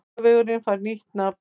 Laugavegurinn fær nýtt nafn